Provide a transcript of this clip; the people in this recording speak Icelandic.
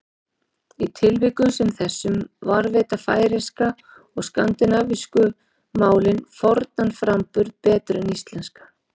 Í tilvikum sem þessum varðveita færeyska og skandinavísku málin fornan framburð betur en íslenska.